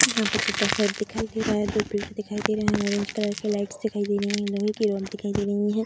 यहाँ पर जित्ता साइड दिखाई दे रहा है दो दिखाई दे रहे हैं ऑरेंज कलर के लाइट्स दिखाई दे रही हैं लोहे की रोड दिखाई दे रहीं हैं।